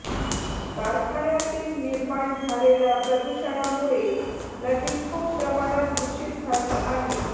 कारखान्यातील निर्माण झालेल्या प्रदूषणामुळे नदी खूप प्रमाणात दुषित झाली आहे